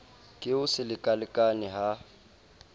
ke ho se lekalekane ha